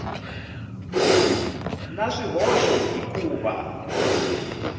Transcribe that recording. na swihoxo hi ku va